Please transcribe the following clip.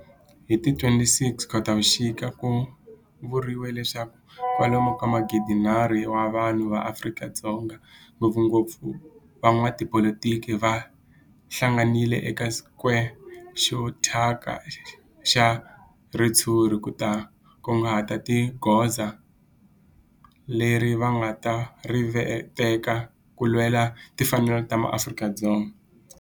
Hi ti 26 Khotavuxika ku vuriwa leswaku kwalomu ka magidi-nharhu wa vanhu va Afrika-Dzonga, ngopfungopfu van'watipolitiki va hlanganile eka square xo thyaka xa ritshuri ku ta kunguhata hi goza leri va nga ta ri teka ku lwela timfanelo ta maAfrika-Dzonga.